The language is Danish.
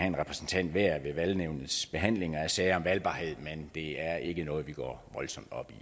en repræsentant hver ved valgnævnets behandling af sager om valgbarhed men det er ikke noget vi går voldsomt op i